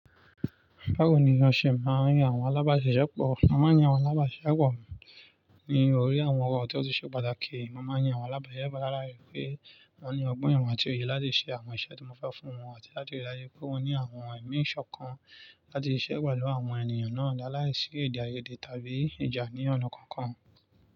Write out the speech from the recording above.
Báwo ni wọn ṣe máa ń yan àwọn alábàá ṣisepọ̀? A máa ń yan àwọn alábàáṣiṣepọ̀ ní orí àwọn ọ̀rọ̀ tió ti ṣe pàtàkì. A máa ń yan àwọn alábàásisepọ̀ láàláì pé wọ́n ní ọgbọ́n ìmọ̀ àti òye láti ṣe àwọn iṣẹ́ tí mo fẹ́ fún wọn àti láti rí i dájú pé wọ́n ní àwọn emí isọ̀kan láti ṣisẹ́ pẹlu àwọn ènìyàn náà láàláìsí ede àyádè tàbí ìjà ní ọ̀nà kankan.